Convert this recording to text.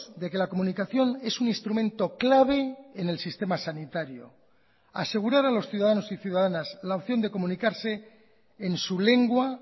de que la comunicación es un instrumento clave en el sistema sanitario asegurar a los ciudadanos y ciudadanas la opción de comunicarse en su lengua